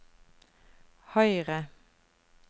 høyre